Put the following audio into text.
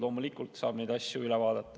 Loomulikult saab neid asju üle vaadata.